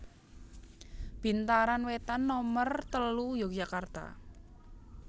Bintaran Wetan Nomer telu Yogyakarta